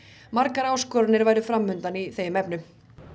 margar áskoranir væru fram undan í þeim efnum